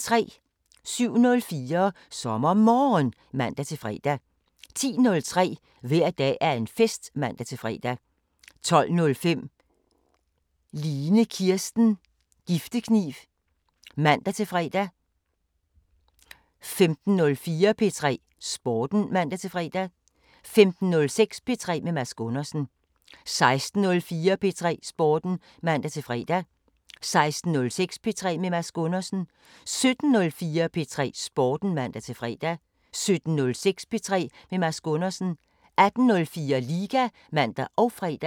07:04: SommerMorgen (man-fre) 10:03: Hver dag er en fest (man-fre) 12:05: Line Kirsten Giftekniv (man-fre) 15:04: P3 Sporten (man-fre) 15:06: P3 med Mads Gundersen 16:04: P3 Sporten (man-fre) 16:06: P3 med Mads Gundersen 17:04: P3 Sporten (man-fre) 17:06: P3 med Mads Gundersen 18:04: Liga (man og fre)